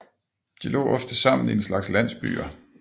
De lå ofte sammen i en slags landsbyer